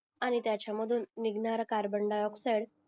आणि त्याच्यामधून निघणारा कॅर्बोन डाय ऑक्साइड